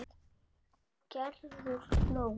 Gerður hló.